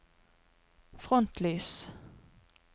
frontlys